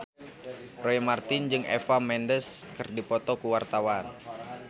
Roy Marten jeung Eva Mendes keur dipoto ku wartawan